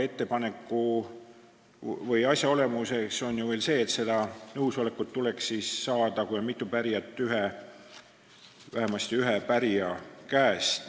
Ettepaneku või asja olemus on ju veel see, et nõusolek tuleks siis, kui on mitu pärijat, saada vähemasti ühe pärija käest.